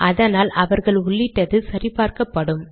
அதனால் அவர்கள் உள்ளிட்டது சரி பார்க்கப்படும்